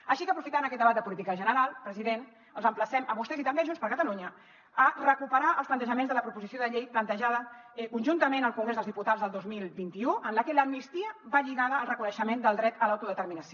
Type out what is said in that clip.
així que aprofitant aquest debat de política general president els emplacem a vostès i també a junts per catalunya a recuperar els plantejaments de la proposició de llei plantejada conjuntament al congrés dels diputats el dos mil vint u en la que l’amnistia va lligada al reconeixement del dret a l’autodeterminació